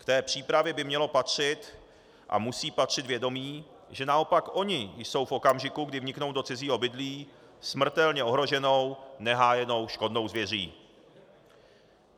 K té přípravě by mělo patřit a musí patřit vědomí, že naopak oni jsou v okamžiku, kdy vniknou do cizího obydlí, smrtelně ohroženou, nehájenou škodnou zvěří.